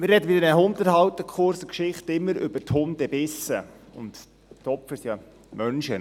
Man spricht in dieser Hundehalterkurs-Geschichte immer über Hundebisse, und die Opfer sind ja Menschen.